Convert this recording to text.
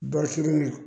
Bari sugu la